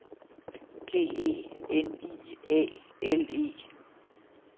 G E N I A L E